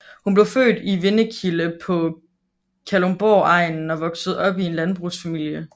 Hun blev født i Vindekilde på Kalundborgegnen og voksede op i en landbrugsfamilie